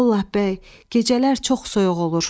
Vallah bəy, gecələr çox soyuq olur.